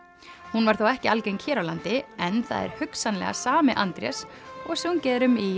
hún var þó ekki algeng hér á landi en það er hugsanlega sami Andrés og sungið er um í